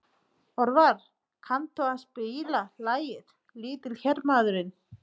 Örvar, kanntu að spila lagið „Litli hermaðurinn“?